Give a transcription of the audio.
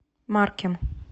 маркем